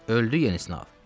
Öldü yenisini al.